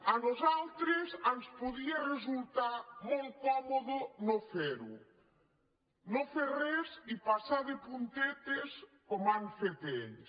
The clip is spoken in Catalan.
a nosaltres ens podia resultar molt còmode no ferho no fer res i passar de puntetes com han fet ells